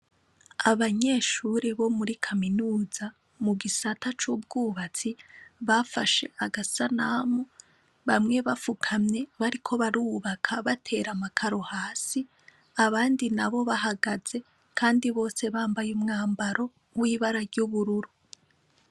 Abanyeshuri bo muri kaminuza mu gisata c'ubwubatsi bafashe agasanamu bamwe bafukamye bariko barubaka batera amakaro hasi abandi na bo bahagaze, kandi bose bambaye umwambaro w'ibara ry'ubururu.